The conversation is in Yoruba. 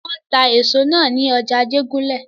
Wọ́n ta èso nà ní ọjà Ajégúnlẹ̀.